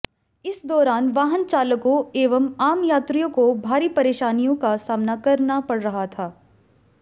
इस दौरान वाहनचालकों एवं आम यात्रियों को भारी परेशानियों का सामना करना पड़ रहा था